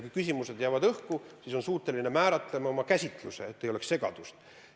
Kui küsimused on õhku jäänud, siis oleme suutelised määratlema oma käsituse, et ei oleks segadust.